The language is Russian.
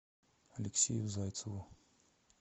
алексею зайцеву